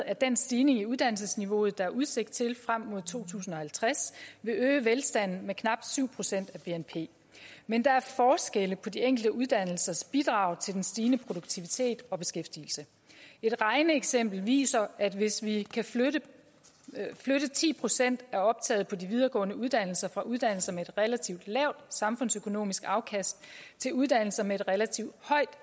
at den stigning i uddannelsesniveauet der er udsigt til frem mod to tusind og halvtreds vil øge velstanden med knap syv procent af bnp men der er forskelle på de enkelte uddannelsers bidrag til den stigende produktivitet og beskæftigelse et regneeksempel viser at hvis vi kan flytte ti procent af optaget på de videregående uddannelser fra uddannelser med et relativt lavt samfundsøkonomisk afkast til uddannelser med et relativt højt